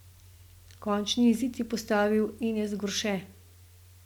Končni izid je postavil Enes Gorše.